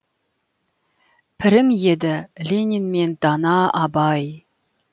пірің еді ленин мен дана абай